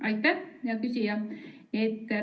Aitäh, hea küsija!